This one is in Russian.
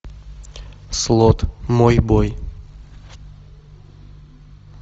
слот мой бой